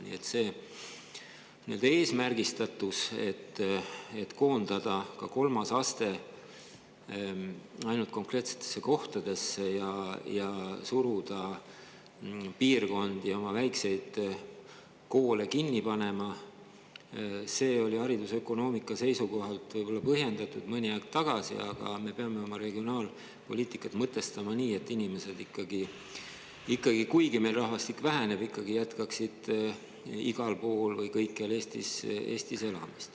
Nii et see nii-öelda eesmärgistatus, et koondada ka kolmas aste ainult konkreetsetesse kohtadesse ja suruda piirkondi oma väikseid koole kinni panema, oli haridusökonoomika seisukohalt võib-olla põhjendatud mõni aeg tagasi, aga nüüd me peame oma regionaalpoliitikat mõtestama nii, et kuigi meil rahvastik väheneb, jätkaksid inimesed ikkagi elamist kõikjal Eestis.